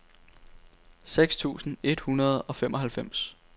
seks tusind et hundrede og femoghalvfems